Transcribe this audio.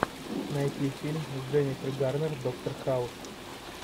найти фильм с дженифер гарнер доктор хаус